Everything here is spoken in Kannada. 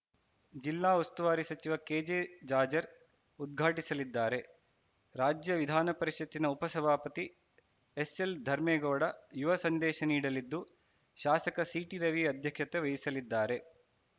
ಜಿಲ್ಲಾ ಉಸ್ತುವಾರಿ ಸಚಿವ ಕೆಜೆ ಜಾಜ್‌ ರ್ ಉದ್ಘಾಟಿಸಲಿದ್ದಾರೆ ರಾಜ್ಯ ವಿಧಾನ ಪರಿಷತ್ತಿನ ಉಪ ಸಭಾಪತಿ ಎಸ್‌ಎಲ್‌ ಧರ್ಮೇಗೌಡ ಯುವ ಸಂದೇಶ ನೀಡಲಿದ್ದು ಶಾಸಕ ಸಿಟಿರವಿ ಅಧ್ಯಕ್ಷತೆ ವಹಿಸಲಿದ್ದಾರೆ